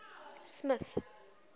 smith